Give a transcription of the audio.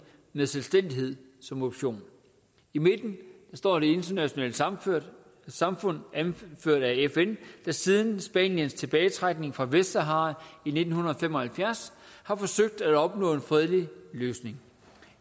med selvstændighed som option i midten står det internationale samfund samfund anført af fn der siden spaniens tilbagetrækning fra vestsahara i nitten fem og halvfjerds har forsøgt at opnå en fredelig løsning